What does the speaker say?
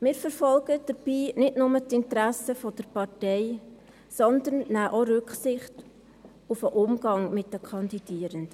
Wir verfolgen dabei nicht nur die Interessen der Partei, sondern nehmen auch Rücksicht auf den Umgang mit den Kandidierenden.